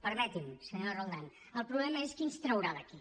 permeti’m senyora roldán el problema és qui ens traurà d’aquí